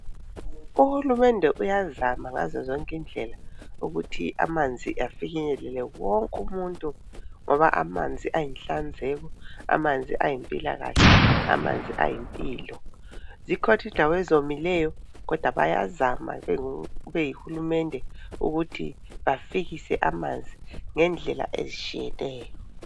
Uhulumende uyazama ngazozonke indlela ukuthi amanzi afinyelele wonke umuntu, ngoba amanzi ayinhlanzeko, amanzi ayimpilakahle, amanzi ayimpilo. Zikhona indawo ezomileyo, kodwa bayazama beyihulumende ukuthi bafikise amanzi ngendlela ezitshiyeneyo.